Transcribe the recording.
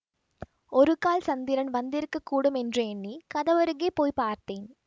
ஒருகால் சந்திரன் வந்திருக்கக்கூடும் என்று எண்ணி கதவருகே போய் பார்த்தேன்